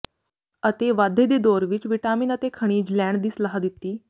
ਅਤੇ ਵਾਧੇ ਦੇ ਦੌਰ ਵਿਚ ਵਿਟਾਮਿਨ ਅਤੇ ਖਣਿਜ ਲੈਣ ਦੀ ਸਲਾਹ ਦਿੱਤੀ